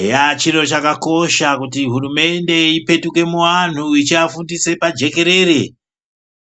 Eya chiro chakakosha kuti hurumende ipetuke muantu ichiafundise pajekerere